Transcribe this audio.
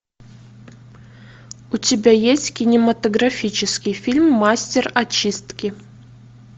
у тебя есть кинематографический фильм мастер очистки